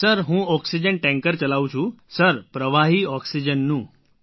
sir હું oxygen tanker ચલાવું છું સર પ્રવાહી ઑક્સિજનનું